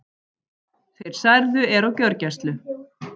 Þeir særðu eru á gjörgæslu